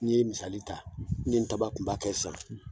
N'i ye misali ta? nin tabakunba kɛ sisan